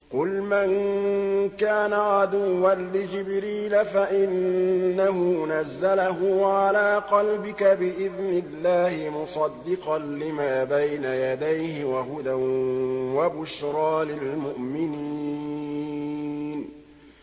قُلْ مَن كَانَ عَدُوًّا لِّجِبْرِيلَ فَإِنَّهُ نَزَّلَهُ عَلَىٰ قَلْبِكَ بِإِذْنِ اللَّهِ مُصَدِّقًا لِّمَا بَيْنَ يَدَيْهِ وَهُدًى وَبُشْرَىٰ لِلْمُؤْمِنِينَ